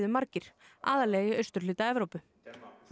margir aðallega í austurhluta Evrópu portman